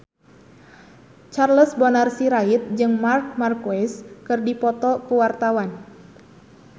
Charles Bonar Sirait jeung Marc Marquez keur dipoto ku wartawan